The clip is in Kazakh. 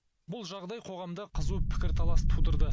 бұл жағдай қоғамда қызу пікірталас тудырды